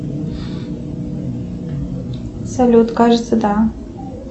салют кажется да